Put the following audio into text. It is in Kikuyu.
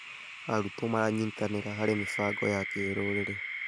Arutwo maranyitanĩra harĩ mĩbango ya kĩrũrĩrĩ.